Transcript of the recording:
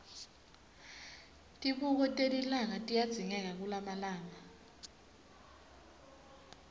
tibuko telilanga tiyadzingeka kulamalanga